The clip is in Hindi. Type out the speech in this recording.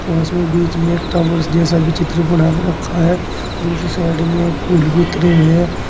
उसमें बीच में एक टॉवर्स जैसा विचित्र बना के रखा है दूसरे साइड में फूल भी उतरे हुए हैं।